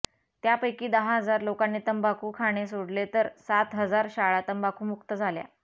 त्यापैकी दहा हजार लोकांनी तंबाखू खाणे सोडले तर सात हजार शाळा तंबाखूमुक्त झाल्या